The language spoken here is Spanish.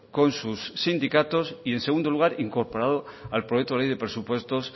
con sus sindicatos y en segundo lugar incorporado al proyecto de ley de presupuestos